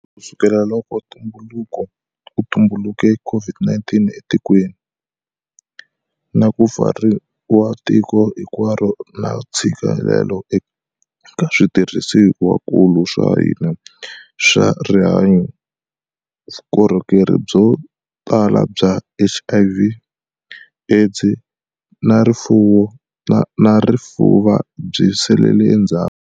Kusukela loko ku tumbuluke COVID-19 etikweni, na ku pfariwa ka tiko hinkwaro na ntshi-kelelo eka switirhisiwankulu swa hina swa rihanyu, vukohokeri byotala bya HIV, AIDS na rifuva byi salele endzhaku.